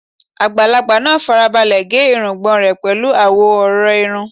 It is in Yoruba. Àgbàlagbà náà fara balẹ̀ gé irùngbọ̀n rẹ̀ pẹ̀lú àwọn ọ̀rọ̀ irun